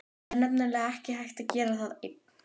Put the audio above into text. Það er nefnilega ekki hægt að gera það einn.